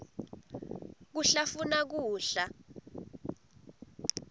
kuhlafuna kudla